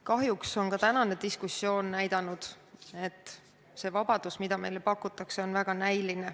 Kahjuks on ka tänane diskussioon näidanud, et see vabadus, mida meile pakutakse, on näiline.